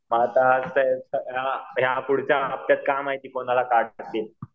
आता ते पुढचं हफत्यात आता काय माहिती